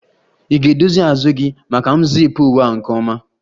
Ị ga-edozi azụ gị maka m zip uwe a nke ọma